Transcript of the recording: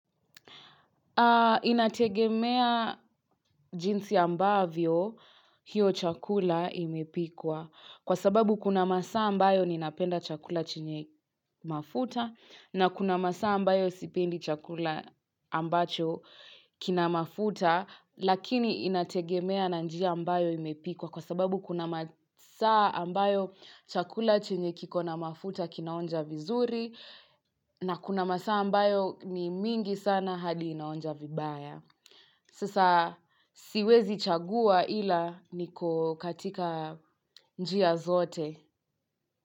Inategemea jinsi ambavyo hiyo chakula imepikwa kwa sababu kuna masaa ambayo ninapenda chakula chenye mafuta na kuna masaa ambayo sipendi chakula ambacho kinamafuta lakini inategemea na njia ambayo imepikwa kwa sababu kuna masaa ambayo chakula chenye kiko na mafuta kinaonja vizuri na kuna masaa ambayo ni mingi sana hadi inaonja vibaya. Sasa siwezi chagua ila niko katika njia zote.